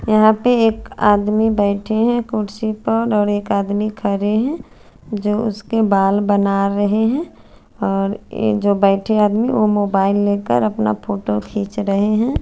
यहा पे एक आदमी बेठे है कुर्सी पर और एक आदमी खरे है जो उसके बाल बना रहे है और जो बेठे आदमी जो बैठे ओ मोबाइल ले कर अपना फोटो खीच रहे है।